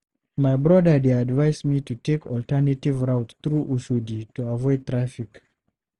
My brother dey advise me to take alternative route through Oshodi to avoid traffic.